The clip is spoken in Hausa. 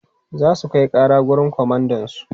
Za su kai ƙara wurin komandansu.